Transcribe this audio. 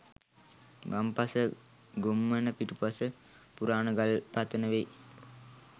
වම්පස ගොම්මන පිටුපස පුරාණ ගල් පතන වෙයි